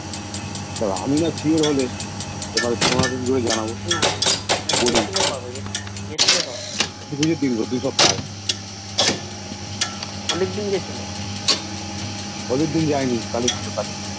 আমি না Sure হলে তোমাকে কি করে জানবো দুসপ্তাহ আগে অনেকদিন যাইনি